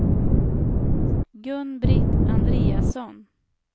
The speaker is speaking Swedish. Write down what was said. Gun-Britt Andreasson